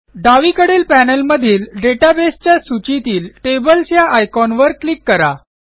डावीकडील पॅनेलमधील databaseच्या सूचीतील टेबल्स या आयकॉनवर क्लिक करा